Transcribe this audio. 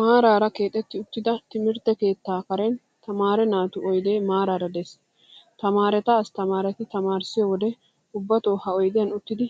Maaraara keexetti uttida timirtte keettaa karen tamaare naatu oyidee maraara diyaagaa. Tamaareta asttamaareti tamaarissiyo wode ubbato ha oyidiyan uttidi